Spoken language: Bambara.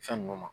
Fɛn nunnu ma